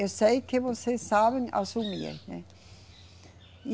Eu sei que vocês sabem assumir, ein, né?